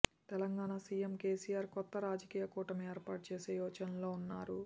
Telangana CM KCR కొత్త జాతీయ కూటమి ఏర్పాటు చేసే యోచనలో ఉన్నారు